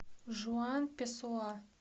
жуан песоа